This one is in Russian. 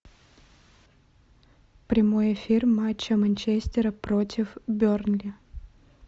прямой эфир матча манчестера против бернли